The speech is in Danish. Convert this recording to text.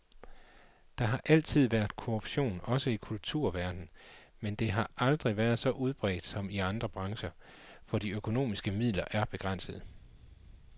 Der har altid været korruption også i kulturverden, men det har aldrig været så udbredt som i andre brancher, for de økonomiske midler er begrænsede.